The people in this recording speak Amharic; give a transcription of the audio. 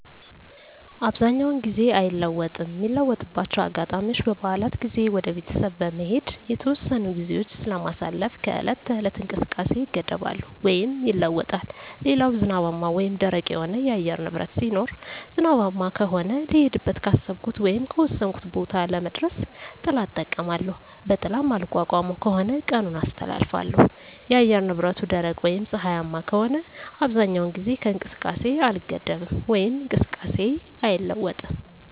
አብዛኛውን ጊዜ አይለወጥም ሚለወጥባቸው አጋጣሚዎች በበዓላት ጊዜ ወደ ቤተሰብ በመሄድ የተወሰኑ ግዜዎች ስለማሳልፍ ከዕለት ተዕለት እንቅስቃሴየ እገደባለው ወይም ይለወጣል ሌላው ዝናባማ ወይም ደረቅ የሆነ የአየር ንብረት ሲኖር ዝናባማ ከሆነ ልሄድበት ካሰብኩት ወይም ከወሰንኩት ቦታ ለመድረስ ጥላ እጠቀማለሁ በጥላ ማልቋቋመው ከሆነ ቀኑን አስተላልፋለሁ የአየር ንብረቱ ደረቅ ወይም ፀሀያማ ከሆነ አብዛኛውን ጊዜ ከእንቅስቃሴ አልገደብም ወይም እንቅስቃሴየ አይለዋወጥም